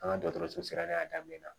An ka dɔgɔtɔrɔso ya daminɛna